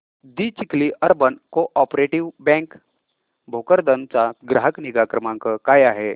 दि Chikhli urban cooperative bank Bhokardan चा ग्राहक निगा क्रमांक काय आहे